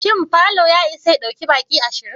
Shin falo ya isa ya ɗauki baki ashirin?